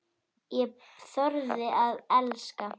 Ég þorði að elska.